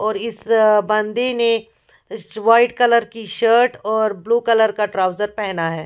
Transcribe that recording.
और इस बंदे ने वाइट कलर की शर्ट और ब्ल्यू कलर का ट्राउजर पहेना है।